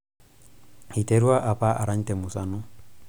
iterua apa arany temusano